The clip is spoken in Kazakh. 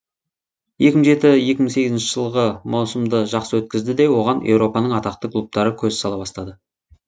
екі мың жеті екі мың сегізінші жылғы маусымды жақсы өткізді де оған еуропаның атақты клубтары көз сала бастады